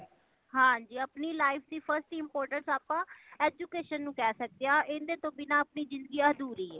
ਹਾਂਜੀ ਆਪਣੀ life ਦੀ first importance ਆਪਾ education ਨੂੰ ਕਹਿ ਸੱਕਦੇ ਹਾਂ। ਇੰਦੇ ਤੋਂ ਬਿਨਾਂ ਜਿੰਦਗੀ ਅਦੂਰਿ ਹੈ।